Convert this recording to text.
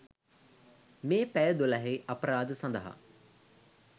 මේ පැය දොළහේ අපරාධ සඳහා